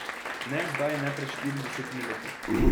Ne zdaj ne pred štiridesetimi leti.